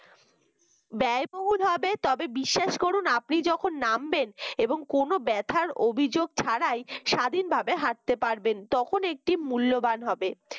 ব্যয়বহুল হবে তবে বিশ্বাস করুন আপনি যখন নামবেন এবং কোন ব্যথার অভিযোগ ছাড়াই স্বাধীনভাবে হাঁটতে পারবেন তখন একটি মূল্যবান হবে